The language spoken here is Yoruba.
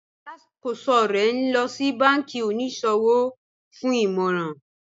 Alákọsọ̀ rè ní lọ sí bánkí oníṣọwọ̀ fún ìmọ̀ràn